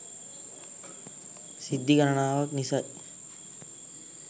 සිද්ධි ගණනාවක් නිසයි.